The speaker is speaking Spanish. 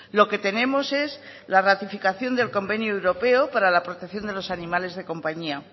lo que tenemos es la ratificación del convenio europeo para la protección de los animales de compañía